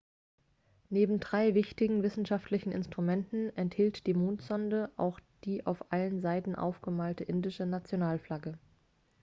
neben drei wichtigen wissenschaftlichen instrumenten enthielt die mondsonde auch die auf allen seiten aufgemalte indische nationalflagge